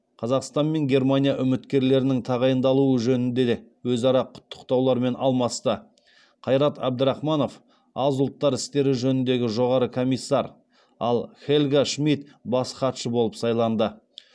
қазақстан мен германия үміткерлерінің тағайындалуы жөнінде өзара құттықтаулармен алмасты қайрат әбдірахманов аз ұлттар істері жөніндегі жоғары комиссар ал хельга шмид бас хатшы болып сайланды